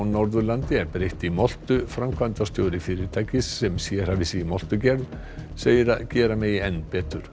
Norðurlandi er breytt í moltu framkvæmdastjóri fyrirtækis sem sérhæfir sig í moltugerð segir að gera megi enn betur